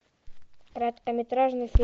короткометражный фильм